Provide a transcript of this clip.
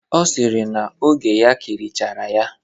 Ọ sịrị na oge ya kirichara ya.